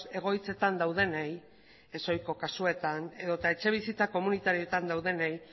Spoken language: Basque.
egoitzetan daudenei ez ohiko kasuetan edo eta etxe bizitza komunitarioetan daudenei